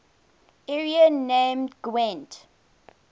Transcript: area named gwent